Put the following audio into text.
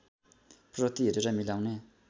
प्रति हेरेर मिलाउने